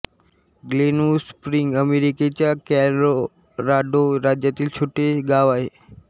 Glenwood Springs अमेरिकेच्या Colorado राज्यातील छोटे गाव आहे